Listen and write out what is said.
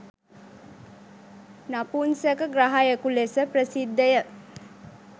නපුංසක ග්‍රහයකු ලෙස ප්‍රසිද්ධය.